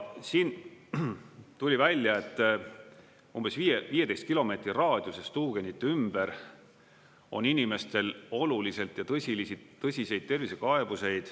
Siin tuli välja, et umbes 15 kilomeetri raadiuses tuugenite ümber on inimestel oluliselt ja tõsiseid tervisekaebusi.